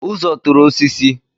Uzo tụrụ osisi